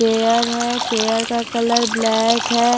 Chair है chair का colour black है।